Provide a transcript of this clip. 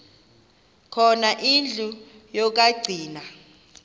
khona indlu yokagcina